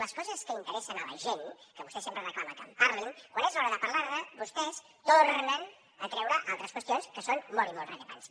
les coses que interessen a la gent que vostè sempre reclama que en parlin quan és l’hora de parlar ne vostès tornen a treure altres qüestions que són molt i molt rellevants